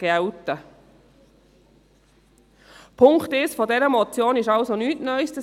Der Punkt 1 dieser Motion ist nichts Neues;